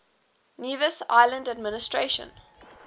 nevis island administration